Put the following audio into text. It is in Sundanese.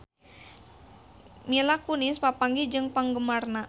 Mila Kunis papanggih jeung penggemarna